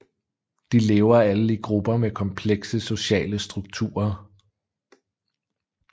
De lever alle i grupper med komplekse sociale strukturer